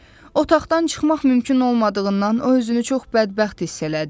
Otaqdan çıxmaq mümkün olmadığından o özünü çox bədbəxt hiss elədi.